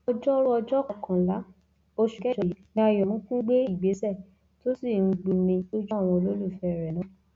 ọjọrùú ọjọ kọkànlá oṣù kẹjọ yìí ni ayọmùkùn gbé ìgbésẹ tó sì ń gbomi lójú àwọn olólùfẹ rẹ náà